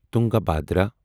Tungabhadra